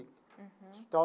Uhum.